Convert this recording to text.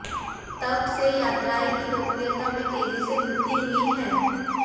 तब से यात्राएं की लोकप्रियता में तेजी से वृद्धि हुई है